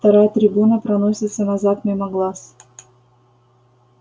вторая трибуна проносится назад мимо глаз